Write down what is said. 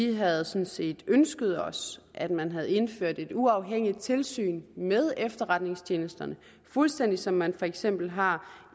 vi havde sådan set ønsket os at man havde indført et uafhængigt tilsyn med efterretningstjenesterne fuldstændig som man for eksempel har